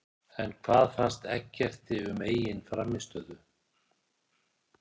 En hvað fannst Eggerti um eigin frammistöðu?